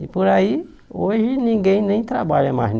E por aí, hoje ninguém nem trabalha mais em